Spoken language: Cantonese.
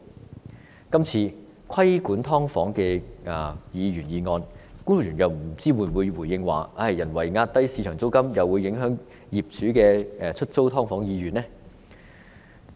不知道就今次有關規管"劏房"的議員議案，官員又會否回應表示，人為壓低市場租金，會影響業主出租"劏房"的意欲呢？